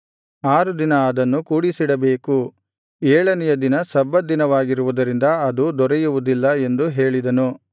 ಆರು ದಿನ ಅದನ್ನು ಕೂಡಿಸಿಡಬೇಕು ಏಳನೆಯ ದಿನ ಸಬ್ಬತ್ ದಿನವಾಗಿರುವುದರಿಂದ ಅದು ದೊರೆಯುವುದಿಲ್ಲ ಎಂದು ಹೇಳಿದನು